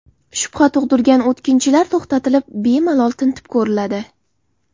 Shubha tug‘dirgan o‘tkinchilar to‘xtatilib bemalol tintib ko‘riladi.